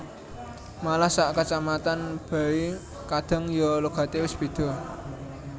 Malah sak kacamatan bae kadang ya logate wis beda